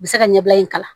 U bɛ se ka ɲɛbila in kalan